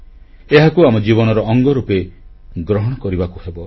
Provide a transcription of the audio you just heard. ଏହାକୁ ଆମ ଜୀବନର ଅଙ୍ଗ ରୂପେ ଗ୍ରହଣ କରିବାକୁ ହେବ